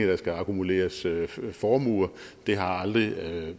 der skal akkumuleres formuer det har aldrig